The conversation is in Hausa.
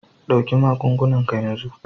Ɗauki magungunan ka yanzun